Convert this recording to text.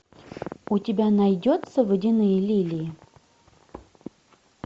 у тебя найдется водяные лилии